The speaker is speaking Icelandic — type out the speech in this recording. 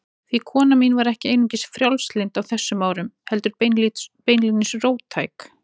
Því kona mín var ekki einungis frjálslynd á þessum árum, heldur beinlínis róttæk.